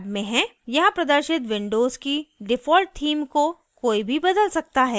यहाँ प्रदर्शित windows की default theme को कोई भी बदल सकता है